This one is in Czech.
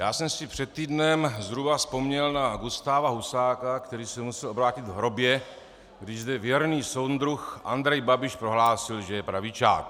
Já jsem si před týdnem zhruba vzpomněl na Gustáva Husáka, který se musel obrátit v hrobě, když zde věrný soudruh Andrej Babiš prohlásil, že je pravičák.